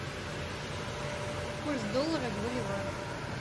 курс доллара к боливару